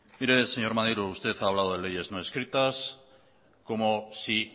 mire señor maneiro usted ha hablado de leyes no escritas como si